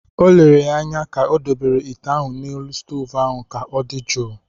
O lere ya anya ka o dobere ite ahụ n’elu stovu ahụ ka ọ dị jụụ